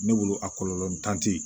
Ne bolo a kɔlɔlɔ ntan tɛ yen